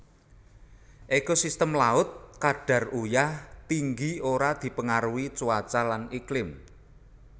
Ekosistem laut kadar uyah tinggi ora dipengaruhi cuaca lan iklim